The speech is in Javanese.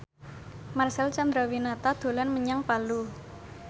Marcel Chandrawinata dolan menyang Palu